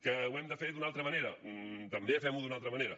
que ho hem de fer d’una altra manera també fem ho d’una altra manera